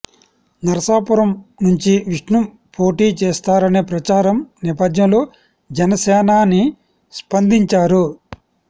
నరసాపురం నుంచి విష్ణు పోటీ చేస్తారనే ప్రచారం నేపథ్యంలో జనసేనాని స్పందించారు